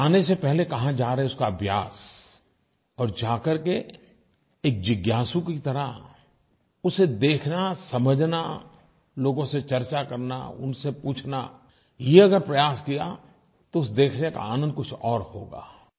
लेकिन जाने से पहले कहाँ जा रहें उसका अभ्यास और जा करके एक जिज्ञासु की तरह उसे देखना समझना लोगों से चर्चा करना उनसे पूछना ये अगर प्रयास किया तो उसे देखने का आनंद कुछ और होगा